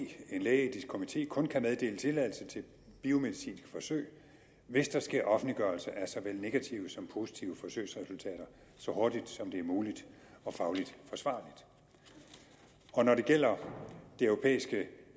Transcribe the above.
at en lægeetisk komité kun kan meddele tilladelse til biomedicinske forsøg hvis der sker offentliggørelse af såvel negative som positive forsøgsresultater så hurtigt som det er muligt og fagligt forsvarligt og når det gælder det europæiske